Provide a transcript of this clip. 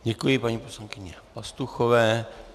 Děkuji paní poslankyni Pastuchové.